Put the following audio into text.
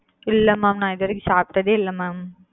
இல்ல mam நா இது வரைக்கும் சாப்டதே இல்ல mam.